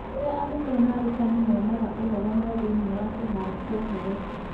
Kũrĩa arutwo na arutani monaga ũhoro no thĩinĩ wa kĩhaaro kĩa ũhoro.